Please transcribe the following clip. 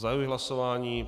Zahajuji hlasování.